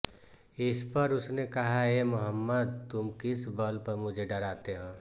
इसपर उसने कहा ऐ मुहम्मद तुम किस बल पर मुझे डराते हो